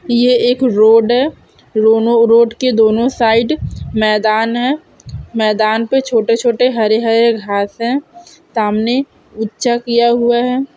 ये एक रोड है रोनो रोड के दोनों साइड मैदान है मैदान पे छोटे-छोटे हरे हरे घाँस है सामने ऊंचा किया हुआ है।